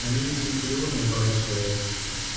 они ведь и наполеона убрали в своё время